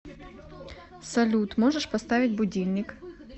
салют можешь поставить будильник